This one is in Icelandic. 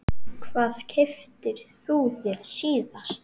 Hvað keyptir þú þér síðast?